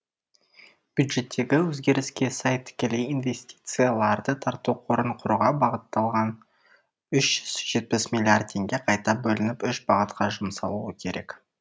бюджеттегі өзгеріске сай тікелей инвестицияларды тарту қорын құруға бағытталған үш жүз жетпіс миллиард теңге қайта бөлініп үш бағытқа жұмсалуы керек